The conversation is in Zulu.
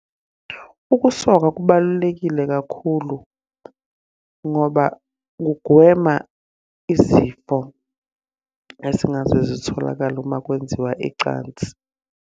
Ukusoka kubalulekile kakhulu ngoba kugwema izifo esingaze zitholakale uma kwenziwa icansi.